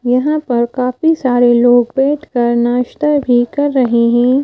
यहाँ पर काफी सारे लोग बैठकर नाश्ता भी कर रहे हैं।